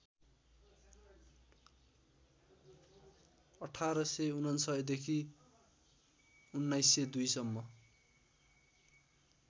१८९९ देखि १९०२ सम्म